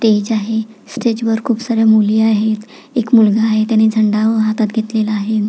Stage आहे stage वर खुप साऱ्या मुली आहेत एक मुलगा आहे त्याने झेंडा हातात घेतलेला आहे.